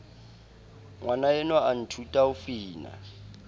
ngwanaenwa a nthuta ho fina